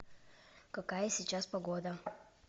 какая сейчас погода